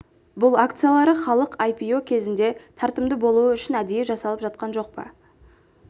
бұл акциялары халық ай-пи-о кезінде тартымды болуы үшін әдейі жасалып жатқан жоқ па